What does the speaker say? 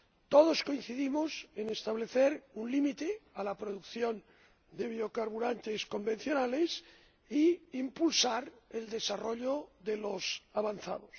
Todos coincidimos en establecer un límite a la producción de biocarburantes convencionales y en impulsar el desarrollo de los avanzados.